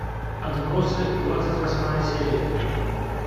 отбросы двадцать восьмая серия